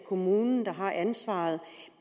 kommunen der har ansvaret